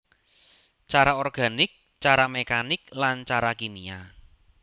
Cara organik cara mekanik lan cara kimia